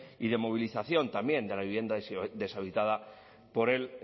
y de movilización también de la vivienda deshabitada por el